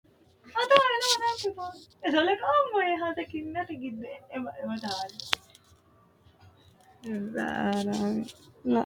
Kunni manni hiitene ama'no ama'nono manaati? Lamu manni baxite umoho maa wodhitinori maati? Kawaanni hige noohu maa aganni nooro kuli?